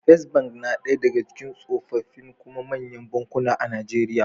First Bank na ɗaya daga cikin tsofaffi kuma manyan bankuna a Najeriya.